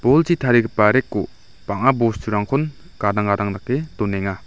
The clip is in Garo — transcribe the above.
bolchi tarigipa rack-o bang·a bosturangkon gadang gadang dake donenga.